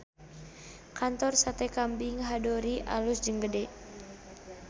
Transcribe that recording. Kantor Sate Kambing Hadori alus jeung gede